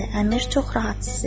Əmir çox rahat hiss edirdi.